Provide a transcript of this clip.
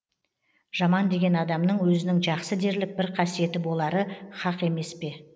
жаман деген адамның өзінің жақсы дерлік бір қасиеті болары хақ емес пе